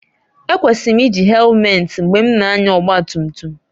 Ekwesịrị m iji hèlumeti mgbe m na-anya ọgba tum tum